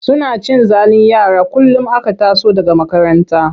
Suna cin zalin yara kullum aka taso daga makaranta.